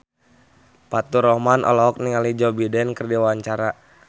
Faturrahman olohok ningali Joe Biden keur diwawancara